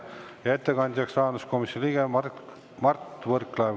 Ja ettekandjaks on rahanduskomisjoni liige Mart Võrklaev.